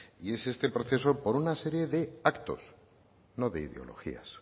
y este proceso por una serie de actos no de ideologías